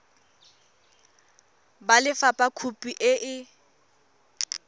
ba lefapha khopi e e